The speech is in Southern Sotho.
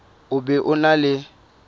o be o na le